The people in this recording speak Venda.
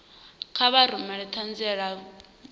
kha vha rumele ṱhanziela ya vhukuma